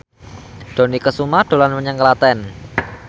Dony Kesuma dolan menyang Klaten